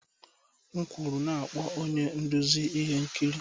M kwuru na-akpọ onye nduzi ihe nkiri!